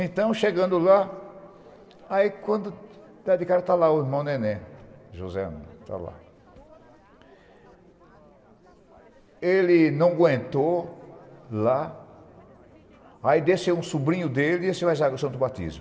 Então, chegando lá, o irmão Nené, José, não aguentou, lá, aí desceu um sobrinho dele, Ezequiel Santo Batizo